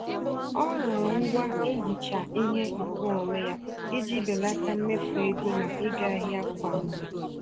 Ọ rụrụ ngwá nhicha-ihe nke onwe ya, iji belata mmefu ego na ịga ahịa kwa mgbè